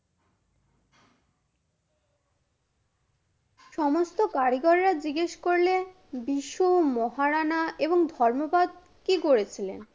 সমস্ত কারিগররা জিজ্ঞেস করলে বিশু মহারানা এবং ধর্মপদ কি করেছিলেন?